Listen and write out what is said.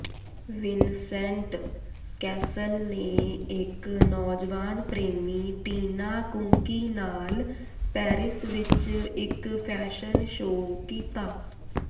Vincent Cassel ਨੇ ਇਕ ਨੌਜਵਾਨ ਪ੍ਰੇਮੀ ਟੀਨਾ ਕੁੰਕੀ ਨਾਲ ਪੈਰਿਸ ਵਿਚ ਇਕ ਫੈਸ਼ਨ ਸ਼ੋਅ ਕੀਤਾ